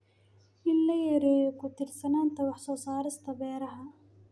in la yareeyo ku tiirsanaanta wax soo saarka beeraha.